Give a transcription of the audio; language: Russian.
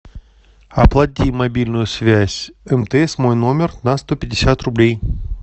оплати мобильную связь мтс мой номер на сто пятьдесят рублей